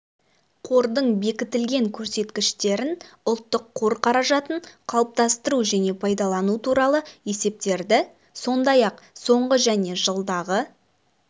қордың бекітілген көрсеткіштерін ұлттық қор қаражатын қалыптастыру және пайдалану туралы есептерді сондай-ақ соңғы және жылдағы